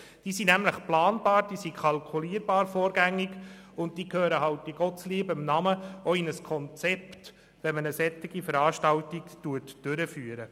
Diese Kosten sind nämlich planbar, sie sind vorgängig kalkulierbar, und sie gehören halt in Gottes liebem Namen in ein Konzept, wenn man eine solche Veranstaltung durchführt.